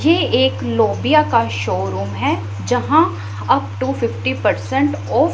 ये एक लोबिया का शोरूम है जहां up to fifty percent off --